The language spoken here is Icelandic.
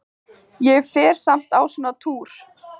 Fer ég samt á svona túr?